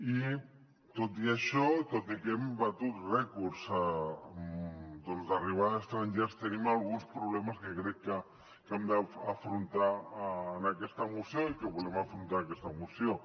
i tot i això tot i que hem batut rècords d’arribada d’estrangers tenim alguns problemes que crec que hem d’afrontar en aquesta moció i que volem afrontar en aquesta moció